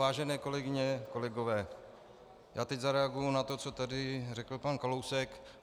Vážené kolegyně, kolegové, já teď zareaguji na to, co tady řekl pan Kalousek.